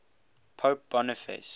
pope boniface